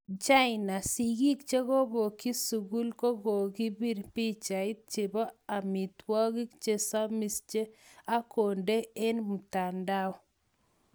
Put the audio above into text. China,:Sigik chekopoyik sukul kokokakopir pichait chepo amitwangik chesamis ak kondee en mtandao